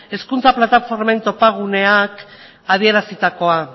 hezkuntza plataformen topaguneak adierazitakoa